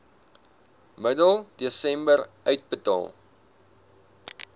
middel desember uitbetaal